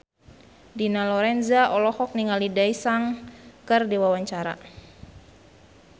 Dina Lorenza olohok ningali Daesung keur diwawancara